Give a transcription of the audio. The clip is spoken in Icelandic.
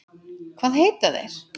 Hvað heita þeir?